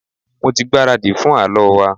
Mo tí gbáradi fún àlọ wa.